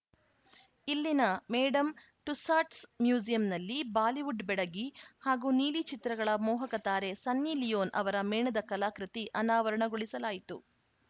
ಇಲ್ಲಿನ Madame Tussauds ಮ್ಯೂಸಿಯಂನಲ್ಲಿ ಬಾಲಿವುಡ್‌ ಬೆಡಗಿ ಹಾಗೂ ನೀಲಿ ಚಿತ್ರಗಳ ಮೋಹಕ ತಾರೆ ಸನ್ನಿ ಲಿಯೋನ್‌ ಅವರ ಮೇಣದ ಕಲಾಕೃತಿ ಅನಾವರಣಗೊಳಿಸಲಾಯಿತು